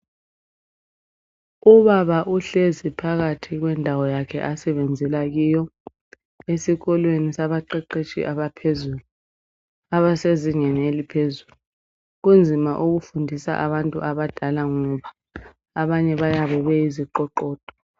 Ubaba uhlezi phakathi kwendawo yakhe asebenzela kiyo esikolweni sabaqeqetshi abaphezulu, abasezingeni eliphezulu kunzima ukufundisa abantu abadala ngoba abanye bayabe beyiziqoqodo.